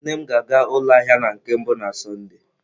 Nne m ga-aga ụlọ ahịa na nke mbụ na Sọnde.